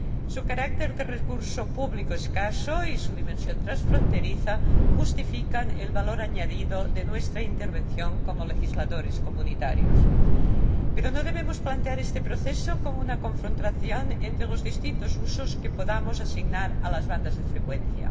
Su carácter de recurso público escaso y su dimensión transfronteriza justifican el valor añadido de nuestra intervención como legisladores de la UE, pero no debemos plantear este proceso como una confrontación entre los distintos usos que podamos asignar a las bandas de frecuencia.